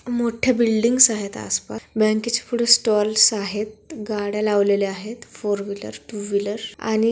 मोठे बिल्डिंग्स आहेत आस पास बँकेच्या पुढे स्टॉल्स आहेत गाड्या लावलेल्या आहेत फोर व्हीलर टू व्हीलर आणि--